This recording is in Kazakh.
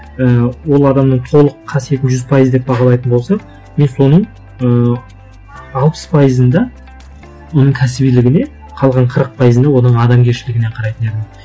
і ол адамның толық қасиетін жүз пайыз деп бағалайтын болсақ мен соның ыыы алпыс пайызында оның кәсібилігіне қалған қырық пайызында оның адамгершілігіне қарайтын едім